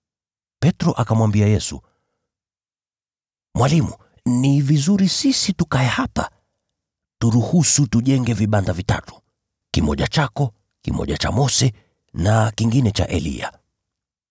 Petro akamwambia Yesu, “Rabi, ni vyema sisi tukae hapa. Turuhusu tujenge vibanda vitatu: kimoja chako, kingine cha Mose na kingine cha Eliya.”